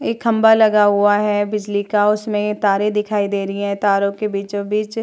एक खंभा लगा हुआ है बिजली का उसमें तारे दिखाई दे रही है तारों के बीचों-बीच --